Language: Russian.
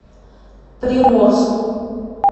приморску